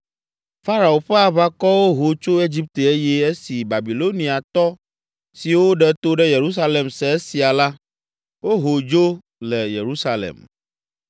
Farao ƒe aʋakɔwo ho tso Egipte eye esi Babiloniatɔ siwo ɖe to ɖe Yerusalem se esia la, woho dzo le Yerusalem.